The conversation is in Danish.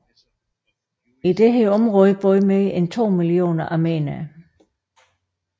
I dette område boede mere end to millioner armenere